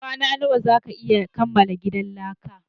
Kwana nawa zaka iya kamala gidan laka?